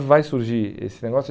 vai surgir esse negócio.